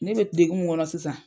Ne bɛ degun min kɔnɔ sisan.